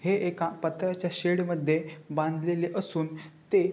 हे एका पत्राच्या शेड मध्ये बांधलेले असून ते --